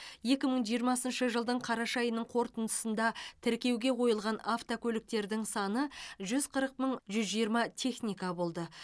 екі мың жиырмасыншы жылдың қараша айының қорытындысында тіркеуге қойылған автокөліктердің саны жүз қырық мың жүз жиырма техника болды